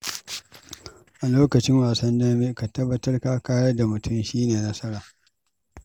A lokacin wasan dambe, ka tabbatar da ka kayar da mutum, shi ne nasara!